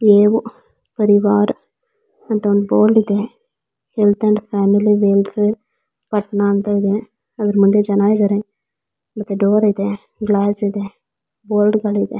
ಪರಿವಾರ್ ಅಂತ ಒಂದ್ ಬೋರ್ಡ್ ಇದೆ health and family welfare Patna ಅಂತಾ ಇದೆ ಅದ್ರ್ ಮುಂದೆ ಜನ ಇದ್ದಾರೆ. ಮತ್ತೆ ಡೋರ್ ಇದೆ ಗ್ಲಾಸ್ ಇದೆ ಬೋರ್ಡುಗಳು ಇದೆ.